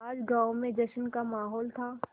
आज गाँव में जश्न का माहौल था